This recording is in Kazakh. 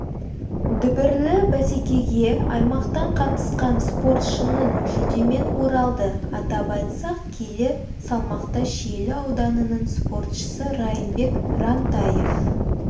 дүбірлі бәсекеге аймақтан қатысқан спортшының жүлдемен оралды атап айтсақ келі салмақта шиелі ауданының спортшысы райымбек рантаев